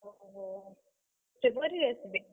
ଅହୋ! February ରେ ଆସିବେ।